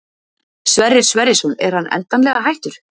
Sverrir Sverrisson er hann endanlega hættur?